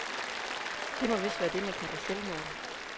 Det må vist være det, man kalder selvmål.